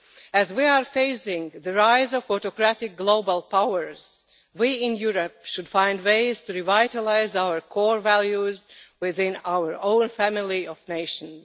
As we are facing the rise of autocratic global powers, we in Europe should find ways to revitalise our core values within our own family of nations.